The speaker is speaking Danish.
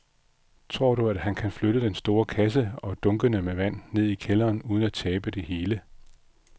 Tror du, at han kan flytte den store kasse og dunkene med vand ned i kælderen uden at tabe det hele?